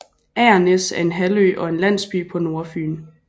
Agernæs er en halvø og en landsby på Nordfyn